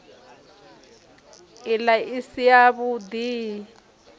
ila i si yavhud i